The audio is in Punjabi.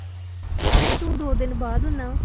ਆਹੋ ਤੂੰ ਦੋ ਦਿਨ ਬਾਅਦ ਹੁਨਾ।